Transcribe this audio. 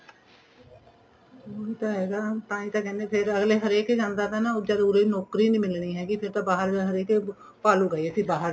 ਉਹੀ ਤਾਂ ਹੈਗਾ ਤਾਂਹੀ ਤਾਂ ਕਹਿੰਦੇ ਫੇਰ ਅੱਗਲੇ ਹਰੇਕ ਜਾਂਦਾ ਥਾ ਨਾ ਜਦ ਉਰੇ ਨੋਕਰੀ ਨੀਂ ਮਿਲਣੀ ਹੈਗੀ ਫੇਰ ਤਾਂ ਬਾਹਰ ਹਰੇਕ ਭਾਲੁਗਾ ਅਸੀਂ ਬਾਹਰ ਜਾਈਏ